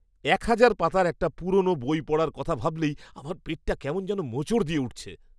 এক হাজার পাতার একটা পুরনো বই পড়ার কথা ভাবলেই আমার পেটটা কেমন যেন মোচড় দিয়ে উঠছে।